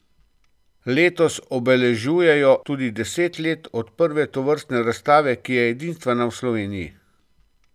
Letos obeležujejo tudi deset let od prve tovrstne razstave, ki je edinstvena v Sloveniji.